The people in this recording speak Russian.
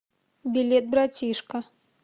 билет братишка